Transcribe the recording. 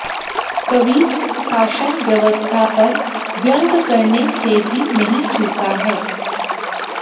कवि शासन व्यवस्था पर व्यंग्य करने से भी नहीं चूका है